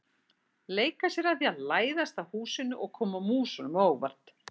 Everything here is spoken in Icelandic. Leika sér að því að læðast að húsinu og koma músunum á óvart.